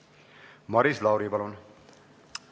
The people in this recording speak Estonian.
Maris Lauri, palun!